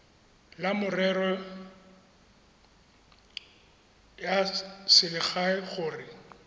la merero ya selegae gore